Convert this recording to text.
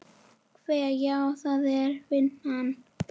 Hve. já, það er vinnan.